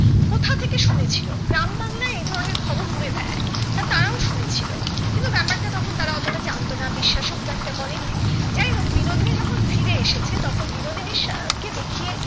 থেকে শুনে ছিল গ্রাম বাংলার এই ধরণের কথা উড়ে বেড়াই তা তারাও শুনে ছিল কিন্তু ব্যাপারটা তারা অতটা জানতো না বিশ্বাস ও খুব একটা করেনি যাই হোক বিনোদিনী যখন ফিরে এসেছে তখন বিনোদিনীর সাআহ কে দেখিয়ে